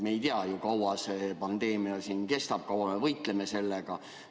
Me ei tea ju, kui kaua see pandeemia kestab, kui kaua me võitleme sellega.